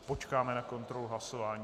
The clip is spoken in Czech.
Počkáme na kontrolu hlasování.